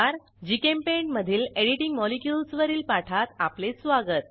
GChemPaint मधील editing molecules वरील पाठात आपले स्वागत